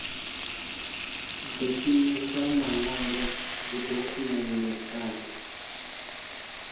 di shumisa manwalo dzidokhumennde kana